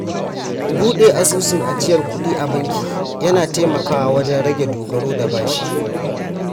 Buɗe asusun ajiyar kuɗi a banki yana taimakawa wajen rage dogaro da bashi.